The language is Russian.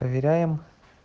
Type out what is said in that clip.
проверяем